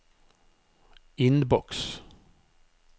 innboks